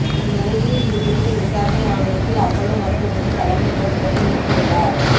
இந்நிலையில் இது குறித்து விசாரண ஆணையத்தில் அப்போலோ மருத்துவமனை தலைமை நர்ஸ் பதில் அளித்து உள்ளார்